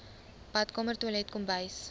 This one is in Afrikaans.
badkamer toilet kombuis